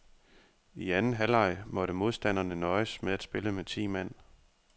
I anden halvleg måtte modstanderne nøjes med at spille med ti mand.